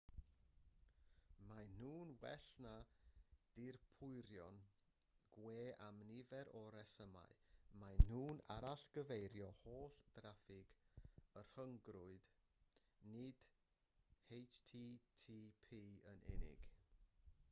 maen nhw'n well na dirprwyon gwe am nifer o resymau maen nhw'n arall-gyfeirio holl draffig y rhyngrwyd nid http yn unig